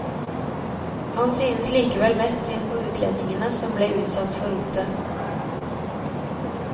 Han synes likevel mest synd på utlendingene som ble utsatt for rotet.